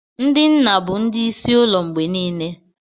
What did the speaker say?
Ndị nna bụ ndị isi ụlọ mgbe niile.